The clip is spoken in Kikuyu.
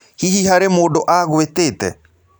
Hihi harĩ mũndũ agũĩtĩte?